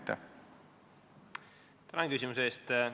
Tänan küsimuse eest!